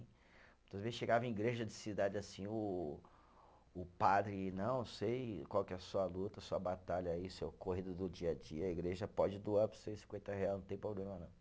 Muitas vezes chegava em igreja de cidade assim, o o padre, não, sei qual que é a sua luta, a sua batalha aí, seu corrido do dia a dia, a igreja pode doar para você cinquenta real, não tem problema não.